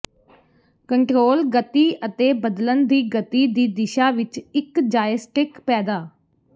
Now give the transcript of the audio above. control ਗਤੀ ਅਤੇ ਬਦਲਣ ਦੀ ਗਤੀ ਦੀ ਦਿਸ਼ਾ ਵਿੱਚ ਇੱਕ ਜਾਏਸਟਿੱਕ ਪੈਦਾ